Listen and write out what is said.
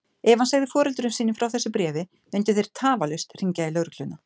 Ef hann segði foreldrum sínum frá þessu bréfi myndu þeir tafarlaust hringja í lögregluna.